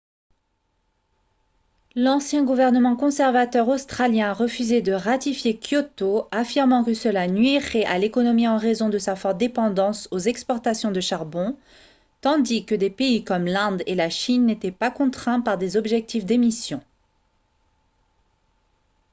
l'ancien gouvernement conservateur australien a refusé de ratifier kyoto affirmant que cela nuirait à l'économie en raison de sa forte dépendance aux exportations de charbon tandis que des pays comme l'inde et la chine n'étaient pas contraints par des objectifs d'émissions